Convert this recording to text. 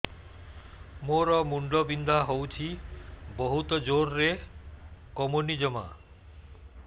ମୋର ମୁଣ୍ଡ ବିନ୍ଧା ହଉଛି ବହୁତ ଜୋରରେ କମୁନି ଜମା